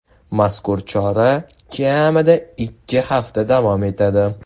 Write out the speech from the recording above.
Mazkur chora kamida ikki hafta davom etadi.